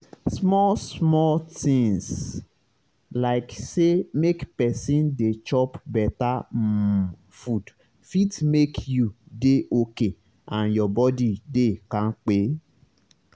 small-small tinz like say make pesin dey chop beta um food fit make you dey okay and your body dey kampe.